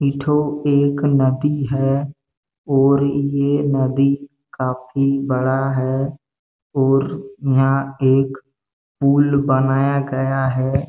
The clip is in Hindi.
ए ठो एक नदी हैं और ये नदी काफ़ी बड़ा हैं और यहाँ एक पूल बनाया गया है।